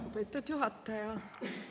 Lugupeetud juhataja!